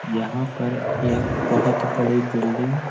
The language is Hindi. यहां पर एक बहुत बड़ी बिल्डिंग --